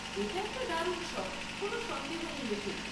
সেটা একটা দারুণ শখ, কোন সন্দেহ নেই এতে।